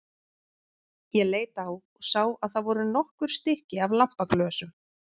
Ég leit á og sá að það voru nokkur stykki af lampaglösum.